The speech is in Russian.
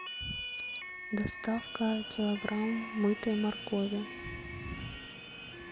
доставка килограмм мытой моркови